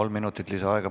Kolm minutit lisaaega.